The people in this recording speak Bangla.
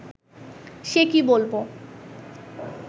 সে কি বলব